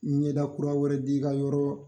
Ɲɛda kura wɛrɛ di i ka yɔrɔɔ